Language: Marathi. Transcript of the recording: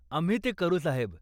आम्ही ते करू साहेब.